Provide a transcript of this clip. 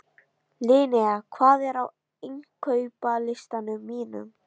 Linnea, hvað er á innkaupalistanum mínum?